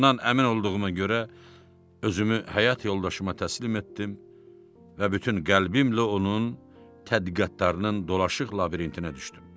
Bundan əmin olduğuma görə özümü həyat yoldaşıma təslim etdim və bütün qəlbimlə onun tədqiqatlarının dolaşıq labirintinə düşdüm.